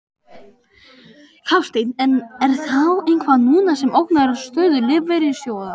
Hafsteinn: En er þá eitthvað núna sem ógnar stöðu lífeyrissjóðanna?